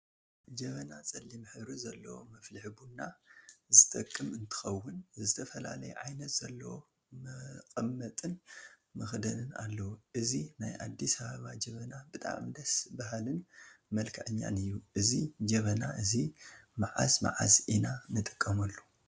ጀበና ፀሊም ሕብሪ ዘለዎ መፍልሒ ቡና ዝጠቅም እንትኸውን፤ ዝተፈላለየ ዓይነት ዘለዎ መቀመጢን መክደንን አለዎ፡፡ እዚ ናይ አዲስ አበባ ጀበና ብጣዕሚ ደስ በሃሊን መልከዐኛን እዩ፡፡ እዚ ጀበና እዚ መዓዝ መዓዝ ኢና ንጥቀመሉ?